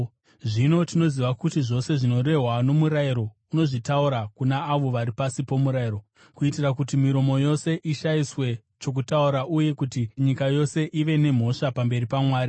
Zvino tinoziva kuti zvose zvinorehwa nomurayiro, unozvitaura kuna avo vari pasi pomurayiro, kuitira kuti miromo yose ishayiswe chokutaura uye kuti nyika yose ive nemhosva pamberi paMwari.